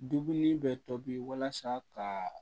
Dumuni bɛ tobi walasa ka